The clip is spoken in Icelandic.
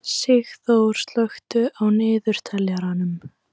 Sigþór, slökktu á niðurteljaranum.